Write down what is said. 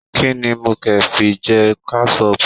Kínní mo ke fi jẹ kẹsọpu?